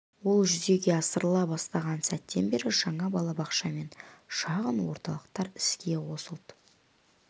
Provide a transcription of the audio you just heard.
ол жүзеге асырыла бастаған сәттен бері жаңа балабақша мен шағын орталықтар іске қосылды